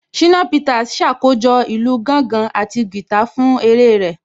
Ṣínà Peters ṣàkójọ̀ ìlù gángan àti guitar fún eré rẹ̀